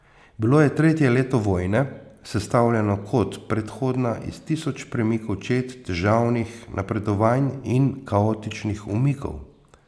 Bilo je tretje leto vojne, sestavljeno, kot predhodna, iz tisoč premikov čet, težavnih napredovanj in kaotičnih umikov.